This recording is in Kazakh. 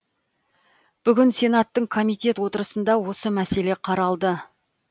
бүгін сенаттың комитет отырысында осы мәселе қаралды